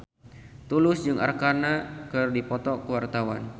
Tulus jeung Arkarna keur dipoto ku wartawan